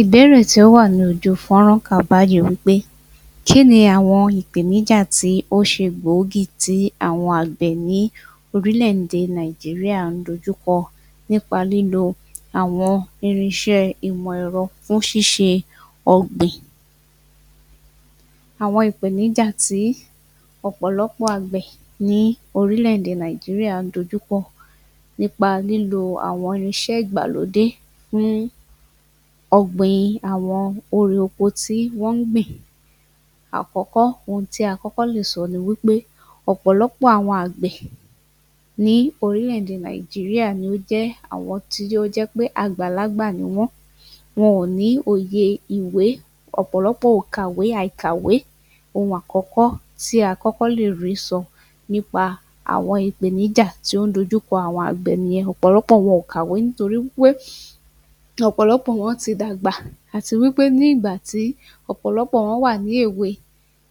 Ìbéèrè tí ó wà lójú fọ́rán kà báyìí wí pé kí ni àwọn ìpèníjà tó ṣe gbòógì tí àwọn àgbẹ̀ ní orílẹ̀-èdè nàìjíríyà ń dojú kọ nípa lílo àwọn irinṣẹ́ ìmọ̀ ẹ̀rọ fún ṣíṣe ọ̀gbìn Àwọn ìpèníjà tí àwọn ọ̀pọ̀lọpọ̀ àgbẹ̀ ní orílẹ̀-èdè Nàìjíríyà ń dojú kọ nípa lílo àwọn irinṣẹ́ ìgbàlódé ní ọgbìn àwọn èrè oko tí wọ́n ń gbìn Àkọ́kọ́, ohun tí a kọ́kọ́ lè sọ ni wí pé ọ̀pọ̀lọpọ̀ àwọn àgbẹ̀ ní orílẹ̀-èdè nàìjíríà ni ó jẹ́ àwọn tí ó jẹ́ pé àgbàlagbà ni wọ́n wọn ò ní òye ìwé, ọ̀pọ̀lọpọ̀ ò kàwé àìkàwé Ohun àkọ́kọ́ tí a kọ́kọ́ lè rí sọ nípa àwọn ìpèníjà tí ó ń dojú kọ àwọn àgbẹ̀ nìyẹn, ọ̀pọ̀lọpọ̀ wọn ò kàwé nítorí wí pé ọ̀pọ̀lọpọ̀ wọn ti dàgbà àti wí pé ní ìgbà tí ọ̀pọ̀lọpọ̀ wọn wà ní èwe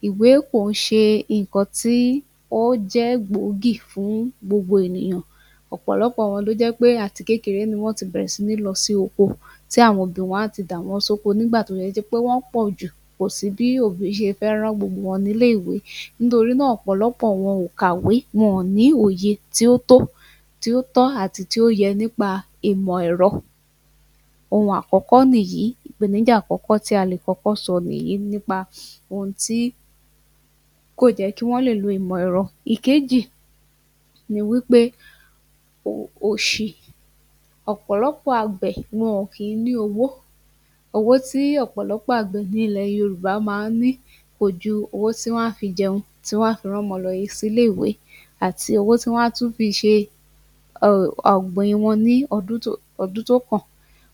ìwé kì í ṣe nǹkan tí ó jẹ́ gbòógì fún gbogbo ènìyàn ọ̀pọ̀lọpọ̀ wọn ló jẹ́ pé àti kékeré ni wọ́n ti bẹ̀rẹ̀ sí ní lọ sí oko tí àwọn òbí wọn a ti dà wọ́n sóko nígbà tó ṣe pé wọ́n pọ̀ jù kò sí bí òbí ṣe fẹ́ rán gbogbo wọn ní ilé-ìwé nítorí náà ọ̀pọ̀lọpọ̀ wọn ò kàwé wọn ò ní òye tí ó tó tí ó tọ́ àti tí ó yẹ nípa ìmọ̀ ẹ̀rọ Ohun àkọ́kọ́ nìyìí, ìpèníjà àkọ́kọ́ tí a lè kọ́kọ́ sọ nípa ohun tí kò jẹ́ kí wọ́n lè lo ìmọ̀ ẹ̀rọ. ẹkejì, ni wí pé òṣì ọ̀pọ̀lọpọ̀ àgbẹ̀ ni wọn kì í ní owó owó tí ọ̀pọ̀lọpọ̀ àgbẹ̀ ní ilẹ̀ yorùbá máa ń ní kò ju owó tí wọ́n máa fi jẹun tí wọ́n máa fi rán ọmọ lọ sí ilé-ìwé àti owó tí wọ́n á tún fi ṣe ọ̀gbìn wọn ní ọdún tó kàn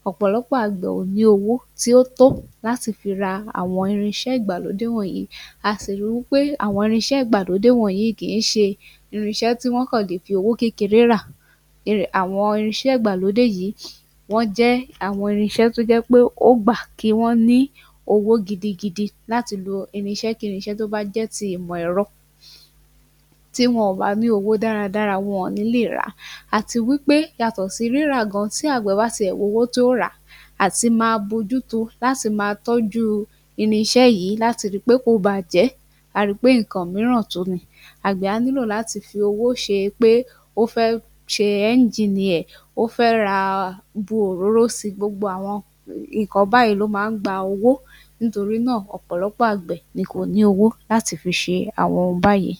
ọ̀pọ̀lọpọ̀ àgbẹ̀ ò ní owó tí ó tó láti fi ra àwọn irinṣẹ́ ìgbàlódé wọ̀nyí a sì ri wí pé àwọn irinṣẹ́ ìgbàlódé wọ̀nyí kì í ṣe irinṣẹ́ tí wọ́n kàn lè fi owó kékeré rà àwọn irinṣẹ́ ìgbàlódé yìí wọ́n jẹ́ àwọn irinṣẹ́ tí ó jẹ́ pé ó gbà kí wọ́n ní owó gidigidi láti lo irinṣẹ́-kí-irinṣẹ́ tó bá jẹ́ ti ìmọ̀ ẹ̀rọ tí wọn ò bá ní owó dáradára wọn ò ní lè rà á àti wí pé yàtọ̀ sí rírà gan tí àgbẹ̀ bá tiẹ̀ wá owó tí ó rà á àti máa mójúto láti máa tọ́jú irinṣẹ́ yìí láti ri pé kò bàjẹ́ a ó ri pé nǹkan mìíràn tún ni, àgbẹ̀ á nílò láti fi owó ṣe pé ó fẹ́ ṣe ẹngììnì ẹ̀ ó fẹ́ ra bu òróró si gbogbo àwọn nǹkan báyìí ló máa ń gba owó Nítorí náà ọ̀pọ̀lọpọ̀ àgbẹ̀ ni kò ní owó láti fi ṣe àwọn ohun báyìí